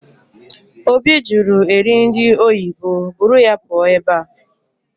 Obi jụrụ eri nri oyibo, buru ya pụọ ebe a!